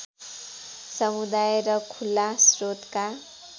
समुदाय र खुला स्रोतका